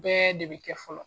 Bɛɛ de bɛ kɛ fɔlɔ.